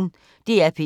DR P1